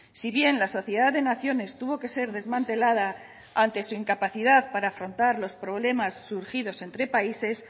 si bien la sociedad de naciones tuvo que ser desmantelada ante su incapacidad para afrontar los problemas surgidos entre países